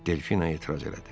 Delfina etiraz elədi.